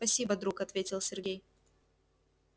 спасибо друг ответил сергей